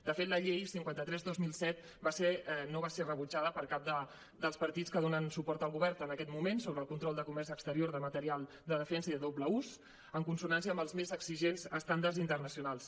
de fet la llei cinquanta tres dos mil set no va ser rebutjada per cap dels partits que donen suport al govern en aquests moments sobre el control de comerç exterior de material de defensa i de doble ús en consonància amb els més exigents estàndards internacionals